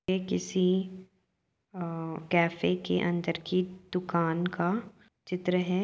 यह किसी अ कैफ़े के अन्दर की दुकान का चित्र है।